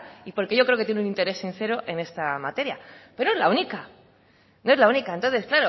y porque yo creo que tiene un interés sincero en esta materia pero no es la única no es la única entonces